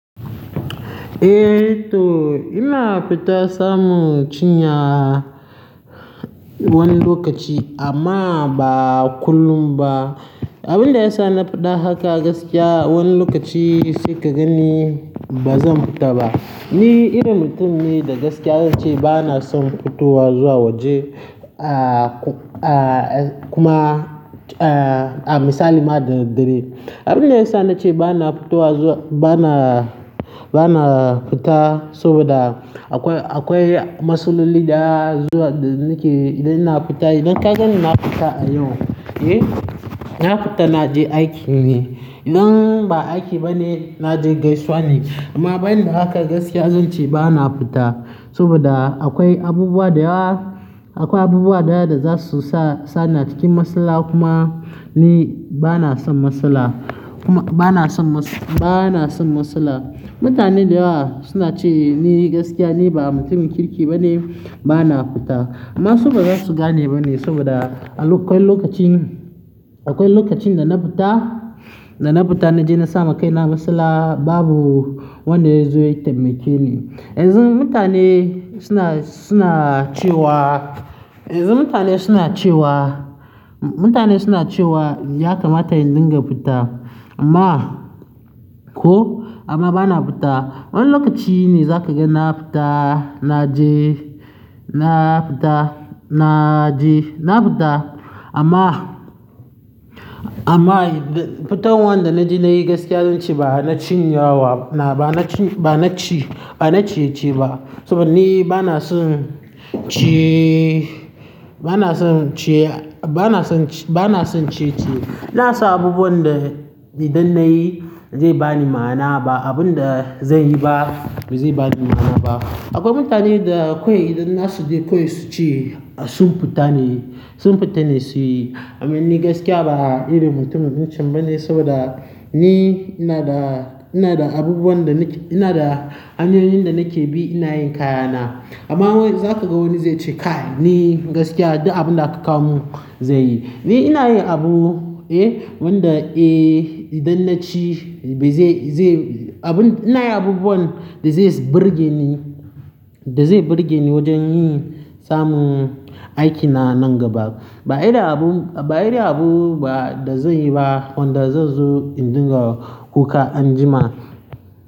Eh to ina fita samun cinya wani lokaci amma ba kullum ba. Abunda ya sa na fada haka domin wani lokaci bazan fita ba ni irin mutum ne da gaskiya zan ce ba na son fitowa zuwa waje, a kuma a misali ma da daddare. Abin da ya sa na ce ba na fitowa zuwa, ba na, ba na fita saboda akwai, akwai matsaloli da zuwa da nake idan ina fita, idan ka gani ina fita a yau, eh, na fita na je aiki ne. Idan ba aiki bane naje gaisuwa ne amma ban da haka gaskiya zan ce ba na fita saboda akwai abubuwa da yawa, akwai abubuwa da yawa da za su sa, sa ni a cikin matsala kuma ni ba na son matsala. Kuma ba na son matsa-- ba na son matsala. Mutane da yawa suna ce ni gaskiya ni ba mutumin kirki ba ne, ba na fita. Amma su ba za su gane ba ne saboda akwai lokacin, akwai lokacin da na fita, da na fita na je na samu kaina a matsala babu wanda ya zo ya taimake ni. Yanzu mutane suna, suna cewa, yanzu mutane suna cewa, mutane suna cewa ya kamata in dinga fita amma ko amma ba na fita. Wani lokaci ne za ka ga na fita, na je, na fita, na je, na fita amma, amma fitan wanda na je na yi gaskiya zan ce ba na cinyawa na ba na ci, ba na ci, ba na ciyeciye ba saboda ni ba na son ci, ba na son ci, ba na son ci, ba na son ciyeciye ina son abubuwan da idan na yi zai ni ma'ana ba, abun da zan yi ba zai ba ni ma'ana ba. Akwai mutane da akwai idan za su je kawai su ce sun fita ne, sun fita ne su yi. Amma ni gaskiya ba irin mutumin ɗinchan ba ne saboda ni ina da, ina da abubuwan da nake, ina da hanyoyin da nake bi ina yin kayana. Amma wai za ka ga wani zai ce kai ni gaskiya ɗuk abin da aka kamo mun zan yi. Ni ina yi abu, eh, wanda eh idan na ci bai je, je abun ina yi abubuwan da zai burge ni, da zai burge ni wajen yin samun aikina nan gaba. Ba irin abu, ba irin abu ba da zan yi ba wanda zai zo in dinga kuka anjima.